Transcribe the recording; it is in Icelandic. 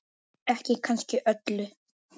Ekki kannski öllu.